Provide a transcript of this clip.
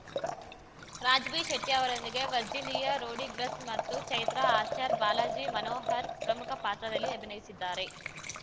Raj ಬಿಶೆಟ್ಟಿಅವರೊಂದಿಗೆ Virginia Rodrigues ಮತ್ತು ಚೈತ್ರಾ ಆಚಾರ್‌ಬಾಲಾಜಿ ಮನೋಹರ್‌ ಪ್ರಮುಖ ಪಾತ್ರದಲ್ಲಿ ಅಭಿನಯಿಸಿದ್ದಾರೆ